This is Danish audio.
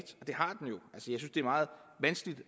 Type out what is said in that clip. synes det er meget vanskeligt